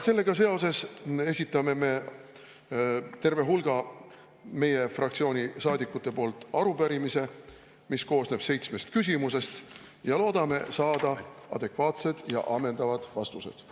Sellega seoses esitame me terve hulga meie fraktsiooni saadikute poolt arupärimise, mis koosneb seitsmest küsimusest, ja loodame saada adekvaatsed ja ammendavad vastused.